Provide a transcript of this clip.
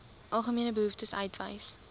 algemene behoeftes uitwys